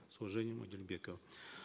с уважением адильбеков